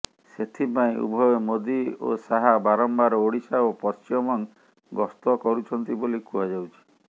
ସେଥିପାଇଁ ଉଭୟ ମୋଦି ଓ ସାହା ବାରମ୍ବାର ଓଡିଶା ଓ ପଶ୍ଚିମବଙ୍ଗ ଗସ୍ତ କରୁଛନ୍ତି ବୋଲି କୁହାଯାଉଛି